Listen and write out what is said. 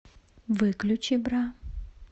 выключи бра